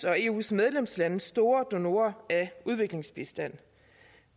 og eus medlemslande store donorer af udviklingsbistand